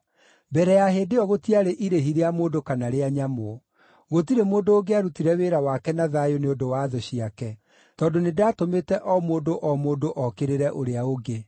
Mbere ya hĩndĩ ĩyo gũtiarĩ irĩhi rĩa mũndũ kana rĩa nyamũ. Gũtirĩ mũndũ ũngĩarutire wĩra wake na thayũ nĩ ũndũ wa thũ ciake, tondũ nĩndatũmĩte o mũndũ o mũndũ okĩrĩre ũrĩa ũngĩ.